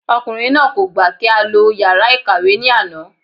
Ọkùnrin náà kò gbà kí á lo yàrá ìkàwé ní àná